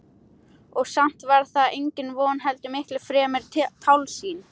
Og samt var það engin von heldur miklu fremur tálsýn.